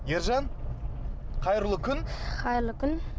ержан қайырлы күн қайырлы күн